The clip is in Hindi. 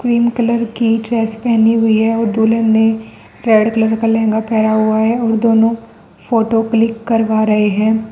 पिंक कलर की ड्रेस पहनी हुई है और दुल्हन ने रेड कलर का लहंगा पहना हुआ है और दोनों फोटो क्लिक करवा रहे हैं।